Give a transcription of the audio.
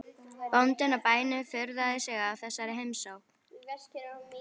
Bóndinn á bænum furðaði sig á þessari heimsókn.